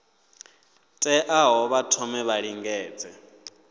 teaho vha thome vha lingedze